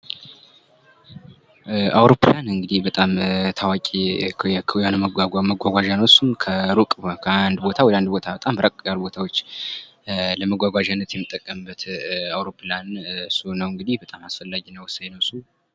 አውሮፕላን እንግዲህ በጣም ታዋቂ መጓጓዣ ነው ። እሱም ከሩቅ ከአንድ ቦታ ወደ ሌላ ቦታ ለመጓጓዣነት የምንጠቀምበት አውሮፕላን እሱ ነው እንግዲህ አስፈላጊ ወሳኝ ነው እሱ ።